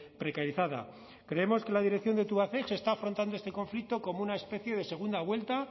precarizada creemos que la dirección de tubacex está afrontando este conflicto como una especie de segunda vuelta